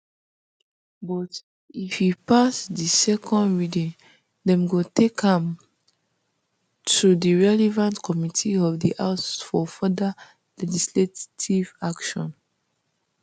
but if e pass di second reading dem go take am um to di relevant committee of di house for further legislative action